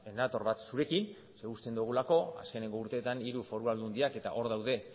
nator bat zurekin uste dugulako azken urteetan hiru foru aldundiak eta hor daude